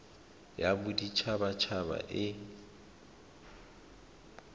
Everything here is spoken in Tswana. ya bodit habat haba e